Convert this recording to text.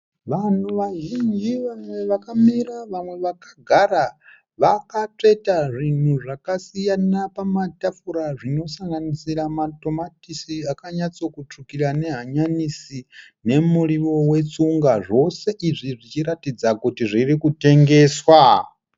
Vanhu vazhinji, vamwe vakamira vamwe vakagara vakatsveta zvinhu zvakasiyana pamatafura zvinosanganisra matomatisi akanyatsokutsvukira nehanyanisi nemuriwo wetsunga. Zvose izvi zvichiratidza kuti zviri kutengeswa.